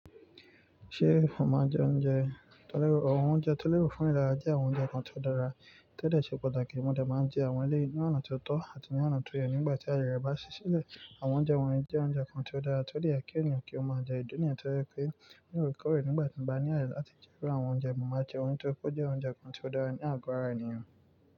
Ṣé ò máa ń jẹ oúnjẹ? Tẹ́lẹ̀, àwọn oúnjẹ tẹ́lẹ̀ fún ìlera jẹ́ àwọn oúnjẹ kan tí ó dára, ti o de ṣe pàtàkì. Mo de máa ń jẹ àwọn eleyii ní ọ̀nà tí ó tọ́ àti ní ọ̀nà tó yẹ nígbà tí ayẹre bá ṣí sílẹ̀. Àwọn oúnjẹ wọ̀nyí jẹ́ oúnjẹ kan tí ó dára, tí ó de ye kí ènìyàn kí ó máa jẹ ìdi niyen. To ye pé, ní òrekọ̀rè nígbà tí ń bá ní àyè láti jẹ iru àwọn oúnjẹ, mo máa jẹ won nítorí pé ó jẹ́ oúnjẹ kan tí ó dára ní àgọ́ ara ènìyàn.